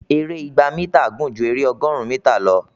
èrè ìgbà mítà gún jù ere ọgọrùn mítà lọ